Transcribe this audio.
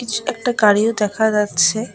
একটা গাড়িও দেখা যাচ্ছে।